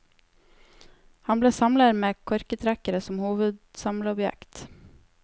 Han ble samler med korketrekkere som hovedsamleobjekt.